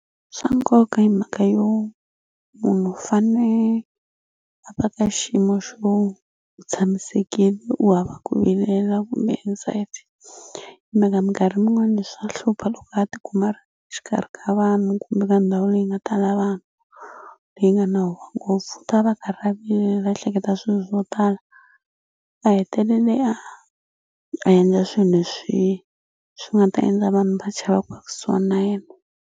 Swa nkoka hi mhaka yo munhu u fane a va ka xiyimo xo u tshamisekile u hava ku vilela kumbe anxiety hi mhaka minkarhi yin'wani swa hlupha loko a tikuma a ri exikarhi ka vanhu kumbe ka ndhawu leyi nga tala vanhu leyi nga na huwa ngopfu u ta va a karhi a vilela a ehleketa swilo swo tala a hetelele a a endla swi leswi swi nga ta endla vanhu va chava ku va kusuhani na yena.